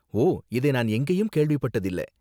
ஓ, இதை நான் எங்கேயும் கேள்விப்பட்டது இல்ல.